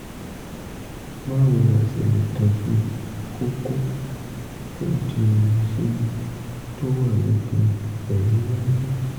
báwo la ṣe lè tọ́jú kókó tó di omi sínú tó wà lókè eyín iwájú?